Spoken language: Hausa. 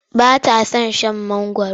Ta ba ta son mangwaro.